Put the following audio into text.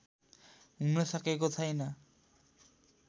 हुनसकेको छैन